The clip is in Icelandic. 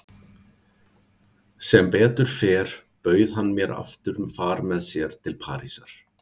Sem betur fer bauð hann mér aftur far með sér til Parísar.